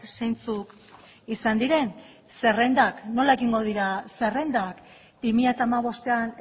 zeintzuk izan diren zerrendak nola egingo dira zerrendak bi mila hamabostean